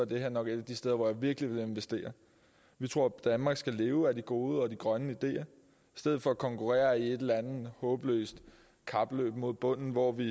det her nok et af de steder hvor jeg virkelig ville investere vi tror danmark skal leve af de gode og de grønne ideer i stedet for at konkurrere i et eller andet håbløst kapløb mod bunden hvor vi